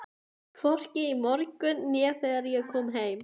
Hvorki í morgun né þegar ég kom heim.